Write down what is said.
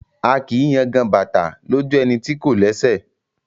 A kìí yangan bàtà lójú ẹni tí kò lẹ́sẹ̀